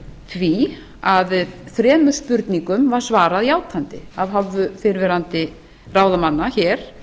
því að þremur spurningum var svarað játandi af hálfu fyrrverandi ráðamanna hér